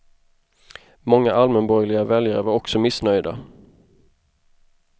Många allmänborgerliga väljare var också missnöjda.